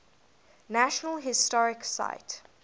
national historic site